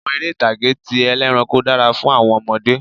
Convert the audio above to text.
Àwọn eré ìtàgé ti ẹlẹ́ranko dára fún àwọn ọmọdé